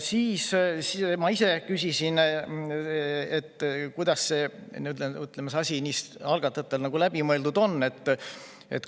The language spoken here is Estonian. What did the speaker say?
Ma ise küsisin, kuidas see asi algatajatel läbi mõeldud on.